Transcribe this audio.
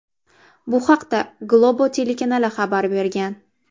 Bu haqda Globo telekanali xabar bergan .